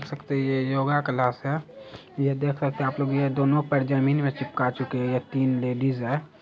देख सकते हैं ये योगा क्लास है। ये देख सकते हैं आप लोग ये दोनों पैर जमीन में चिपका चुके ये तीन लेडीज है।